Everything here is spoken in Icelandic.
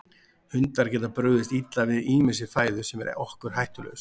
Hundar geta brugðist illa við ýmissi fæðu sem er okkur hættulaus.